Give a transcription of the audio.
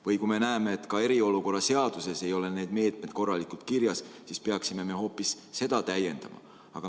Või kui me näeme, et eriolukorra seaduses ei ole meetmed korralikult kirjas, siis peaksime hoopis seda täiendama.